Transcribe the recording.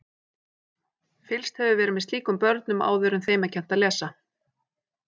Fylgst hefur verið með slíkum börnum áður en þeim er kennt að lesa.